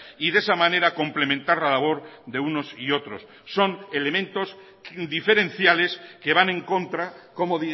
y de esa manera complementar la labor de unos y otros son elementos diferenciales que van en contra como